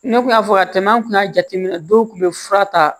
Ne kun y'a fɔ ka tɛmɛ an kun y'a jateminɛ dɔw kun be fura ta